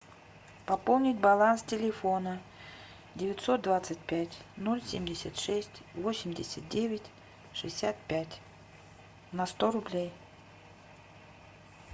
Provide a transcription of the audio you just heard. пополнить баланс телефона девятьсот двадцать пять ноль семьдесят шесть восемьдесят девять шестьдесят пять на сто рублей